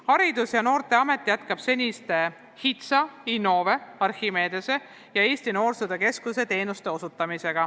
Haridus- ja Noorteamet jätkab seniste HITSA, Innove, Archimedese ja Eesti Noorsootöö Keskuse teenuste osutamist.